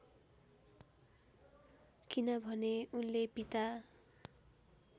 किनभने उनले पिता